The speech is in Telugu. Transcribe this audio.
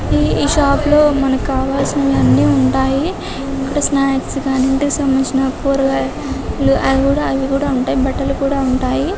ఈ షాపు లో మనకి కావాల్సినవన్నీ ఉంటాయి ఇక్కడ స్నాక్స్ గాని ఇంటికి సంబంధించిన కూరగాయలు అవి కూడా ఉంటాయి బట్టలు కూడా ఉంటాయి